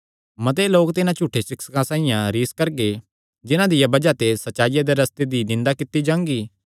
मते लोक तिन्हां झूठे सिक्षकां साइआं रिस करगे जिन्हां दिया बज़ाह ते सच्चाईया दे रस्ते दी निंदा कित्ती जांगी